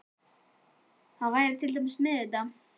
Það var til dæmis þetta með